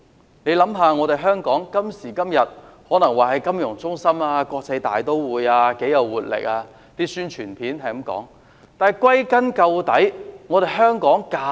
今時今日的香港可說是金融中心、國際大都會，是一個很有活力的城市，宣傳片也是這樣說。